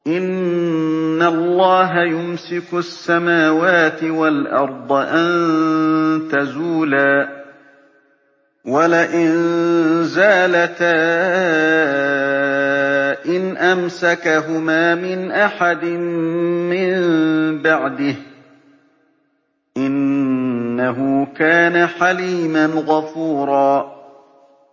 ۞ إِنَّ اللَّهَ يُمْسِكُ السَّمَاوَاتِ وَالْأَرْضَ أَن تَزُولَا ۚ وَلَئِن زَالَتَا إِنْ أَمْسَكَهُمَا مِنْ أَحَدٍ مِّن بَعْدِهِ ۚ إِنَّهُ كَانَ حَلِيمًا غَفُورًا